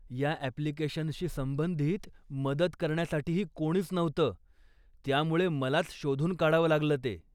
या अप्लिकेशनशी संबधित मदत करण्यासाठीही कोणीच नव्हतं, त्यामुळे मलाच शोधून काढावं लागलं ते.